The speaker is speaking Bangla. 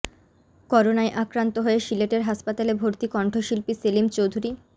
করোনায় আক্রান্ত হয়ে সিলেটের হাসপাতালে ভর্তি কণ্ঠশিল্পী সেলিম চৌধুরী